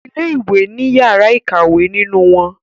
Ilé ìwé ní yàrá ìkàwé nínú wón.